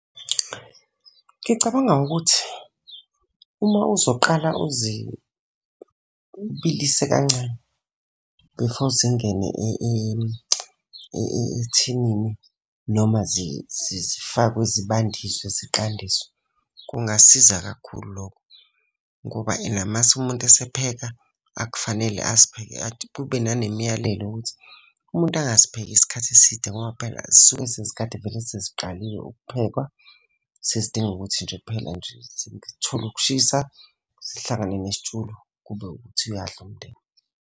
Ngicabanga ukuthi, uma uzoqala uzibilise kancane before zingene ethinini noma zifakwe zibandiswe ziqandiswe, kungasiza kakhulu lokho. Ngoba ena uma umuntu esepheka, akufanele kube nanemiyalelo yokuthi umuntu angazipheki isikhathi eside ngoba phela zisuke sezikade vele seziqaliwe ukuphekwa, sezidinga ukuthi nje kuphela nje zithole ukushisa. Zihlangane nesitshulu. kube ukuthi uyadla umndeni.